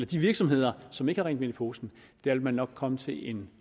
de virksomheder som ikke har rent mel i posen vil man nok komme frem til en